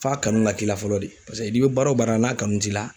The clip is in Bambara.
F'a kanu ka k'i la fɔlɔ de paseke n'i bɛ baara o baara la n'a kanu t'i la.